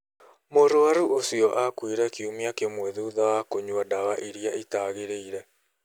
Mũrwaru ũcio aakuire kiumia kĩmwe thutha wa kũnyua ndawa ĩrĩa ĩtaagĩrĩire.